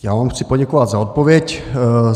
Já vám chci poděkovat za odpověď.